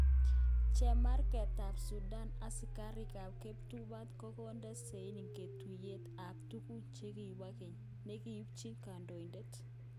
Chemarget tab Sudan:Asikarik kap kiptubatai kokonde sein ngotutyet ab tuguk chekibo keny. nekipchee kandoinatet.